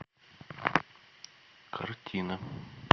картина